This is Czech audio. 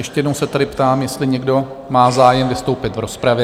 Ještě jednou se tady ptám, jestli někdo má zájem vystoupit v rozpravě?